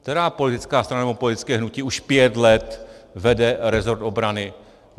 Která politická strana nebo politické hnutí už pět let vede resort obrany?